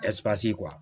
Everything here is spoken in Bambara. kuwa